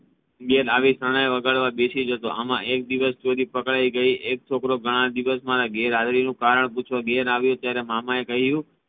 આવ્યા બાદ શરણાઈ વગાડવા બેસી જતો એમા એક દિવસ ચોરી પકડાઈ ગઈ એક છોકરો દિવસે મારા ઘેર આવ્યો એનું કારણ પૂછવા ઘેર આવ્યો ત્યારે મામા એ કહ્યું